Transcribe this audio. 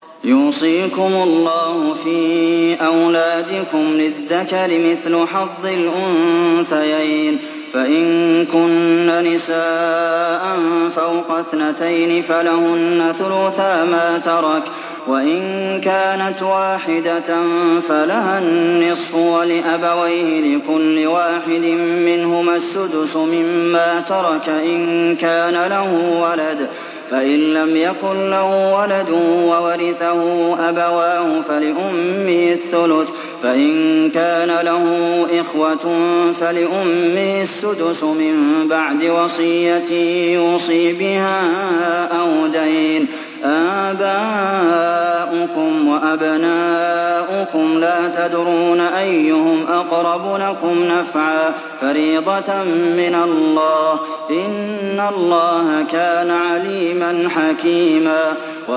يُوصِيكُمُ اللَّهُ فِي أَوْلَادِكُمْ ۖ لِلذَّكَرِ مِثْلُ حَظِّ الْأُنثَيَيْنِ ۚ فَإِن كُنَّ نِسَاءً فَوْقَ اثْنَتَيْنِ فَلَهُنَّ ثُلُثَا مَا تَرَكَ ۖ وَإِن كَانَتْ وَاحِدَةً فَلَهَا النِّصْفُ ۚ وَلِأَبَوَيْهِ لِكُلِّ وَاحِدٍ مِّنْهُمَا السُّدُسُ مِمَّا تَرَكَ إِن كَانَ لَهُ وَلَدٌ ۚ فَإِن لَّمْ يَكُن لَّهُ وَلَدٌ وَوَرِثَهُ أَبَوَاهُ فَلِأُمِّهِ الثُّلُثُ ۚ فَإِن كَانَ لَهُ إِخْوَةٌ فَلِأُمِّهِ السُّدُسُ ۚ مِن بَعْدِ وَصِيَّةٍ يُوصِي بِهَا أَوْ دَيْنٍ ۗ آبَاؤُكُمْ وَأَبْنَاؤُكُمْ لَا تَدْرُونَ أَيُّهُمْ أَقْرَبُ لَكُمْ نَفْعًا ۚ فَرِيضَةً مِّنَ اللَّهِ ۗ إِنَّ اللَّهَ كَانَ عَلِيمًا حَكِيمًا